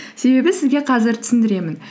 себебі сізге қазір түсіндіремін